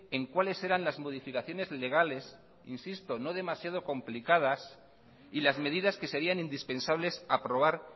en cuáles eran las modificaciones legales no demasiado complicadas y las medidas que serían indispensables aprobar